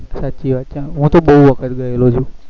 સાચી વાત છે હું તો બહુ વખત ગયેલો છુ